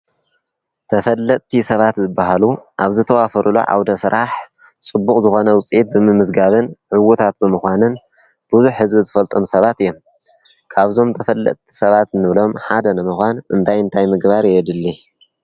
ተፈለጥቲ ሰባት ዝበሃሉ ኣብ ዝተዋፈረሉ ዓዉደ ስራሕ ፅቡቅ ዝኮነ ዉፅኢት ብምምዝጋብን ዕዉታት ብምዃንን ብዙሕ ህዝቢ ዝፈልጦም ሰባት እዮም ካብዞም ተፈለጥቲ ንብሎም ሰባት ሓደ ንምኻን እንታይ እንታይ ምግባር የድሊ ?